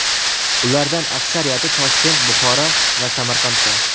Ulardan aksariyati Toshkent, Buxoro va Samarqandda.